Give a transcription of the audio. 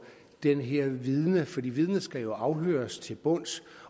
det her vidne for vidnet skal afhøres til bunds